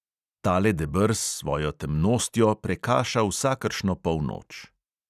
Tale deber s svojo temnostjo prekaša vsakršno polnoč.